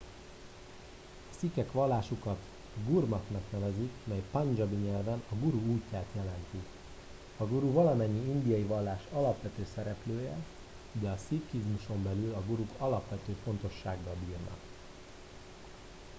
a szikhek vallásukat gurmatnak nevezik mely pandzsábi nyelven a guru útját jelenti a guru valamennyi indiai vallás alapvető szereplője de a szikhizmuson belül a guruk alapvető fontossággal bírnak